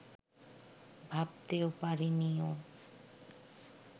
ভাবতেও পারেনি ও